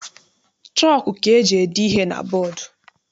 Chọku ka eji ede ihe na bọdu.